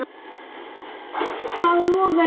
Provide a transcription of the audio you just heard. Það logar í augum þínum.